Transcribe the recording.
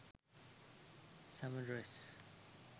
summer dress